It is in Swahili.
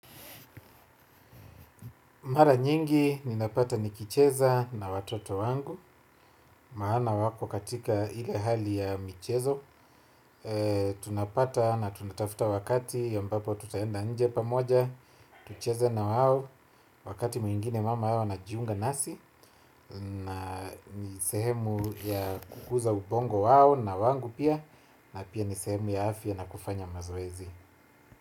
Mara nyingi, ninapata nikicheza na watoto wangu, maana wako katika ile hali ya michezo, tunapata na tunatafuta wakati ambapo tutaenda nje pamoja, tucheze na wao, wakati mwingine mama yao anajiunga nasi, na ni sehemu ya kukuza ubongo wao na wangu pia, na pia ni sehemu ya afya na kufanya mazoezi.